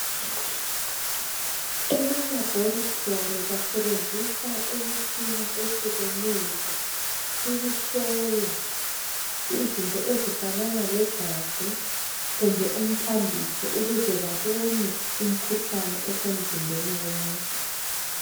Emalaboratory basebenzisa imitshina ehlukeneyo ukuhlola izinto ezifanana legazi kumbe umthambiso ukuze babone umkhuhlani osemzimbeni womuntu.